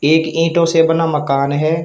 एक ईंटों से बना मकान है।